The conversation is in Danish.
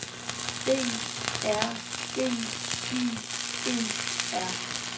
D R E I E R